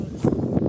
Gəlin qabağa.